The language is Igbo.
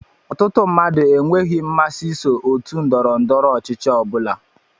Ọtụtụ mmadụ enweghị mmasị iso otú ndọrọ ndọrọ ọchịchị ọbula